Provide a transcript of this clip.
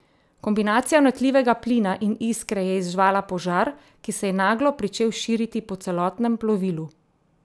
Kombinacija vnetljivega plina in iskre je izzvala požar, ki se je naglo pričel širiti po celotnem plovilu.